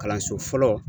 Kalanso fɔlɔ